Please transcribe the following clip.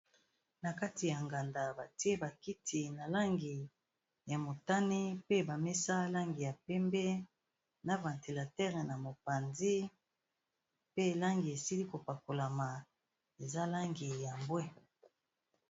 Na kati ya nganda batie ba kiti na langi ya motani, pe ba mesa langi ya pembe, na ventilateur na mopanzi pe langi esili ko pakolama eza langi ya mbwe.